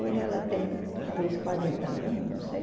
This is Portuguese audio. Hoje ela tem talvez quarenta anos, não sei.